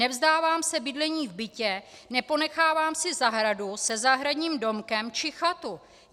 Nevzdávám se bydlení v bytě, neponechávám si zahradu se zahradním domkem či chatu.